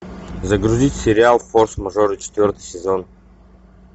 загрузить сериал форс мажоры четвертый сезон